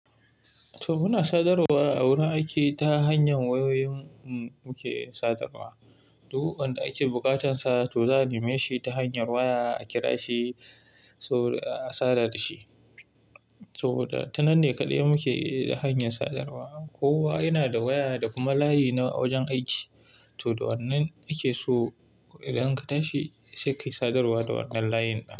To muna sadarwa a wurin aiki ta hanyar wayoyin muke sadarwa. Duk wanda ake bukatarsa to za a neme shi ta hanyar waya a kira shi a sada da shi. To da tanan ne kaɗai muke hanyar sadarwa. Kowa yana da waya da kuma layi na wajen aiki. To da wannan ake so idan ka tashi sai ka yi sadarwa da wannan layin.